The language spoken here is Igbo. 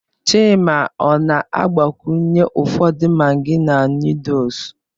Chima ọ na-agbakwunye ụfọdụ maggi na noodles?